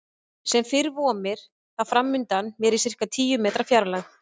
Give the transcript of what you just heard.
Sem fyrr vomir það framundan mér í sirka tíu metra fjarlægð.